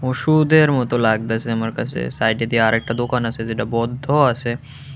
ওষুধের মতো লাগতেসে আমার কাছে সাইডে দিয়ে আরেকটা দোকান আছে যেটা বদ্ধও আছে।